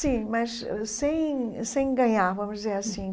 Sim, mas ãh sem sem ganhar, vamos dizer assim.